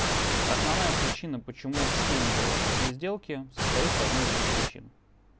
основная причина почему все не делают такие сделки состоит в одной из двух причин